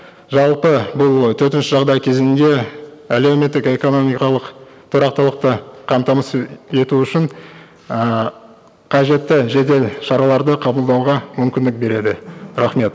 жалпы бұл төтенше жағдай кезеңінде әлеуметтік экономикалық тұрақтылықты қамтамасыз ету үшін ыыы қажетті жедел шараларды қабылдауға мүмкіндік береді рахмет